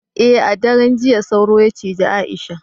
eh a daren jiya sauro ya cije Aisha